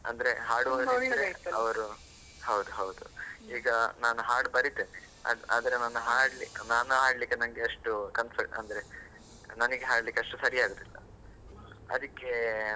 ಅಂದ್ರೆ, ಹಾಡು ಹೌದ್ ಹೌದು. ಈಗ ನಾನು ಹಾಡು ಬರಿತೇನೆ, ಅದ್ ಆದ್ರೆ ನಾನ್ ಹಾಡ್~ ನಾನು ಹಾಡ್ಲಿಕ್ಕೆ ನಂಗೆ concert ಅಂದ್ರೆ ನನಗ್ ಹಾಡ್ಲಿಕ್ಕೆ ಅಷ್ಟು ಸರಿ ಆಗುವುದಿಲ್ಲ ಅದಕ್ಕೆ.